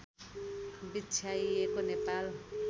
बिछ्याइएको Nepal